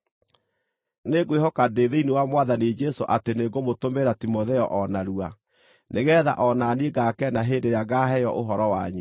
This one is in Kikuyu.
Nĩngwĩhoka ndĩ thĩinĩ wa Mwathani Jesũ atĩ nĩngũmũtũmĩra Timotheo o narua, nĩgeetha o na niĩ ngaakena hĩndĩ ĩrĩa ngaaheo ũhoro wanyu.